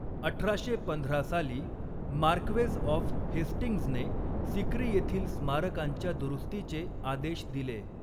अठराशे पंधरा साली मार्क्वेज ऑफ हेस्टिंग्जने सिक्री येथील स्मारकांच्या दुरुस्तीचे आदेश दिले.